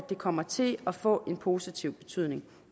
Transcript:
det kommer til at få en positiv betydning